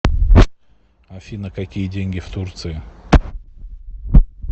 афина какие деньги в турции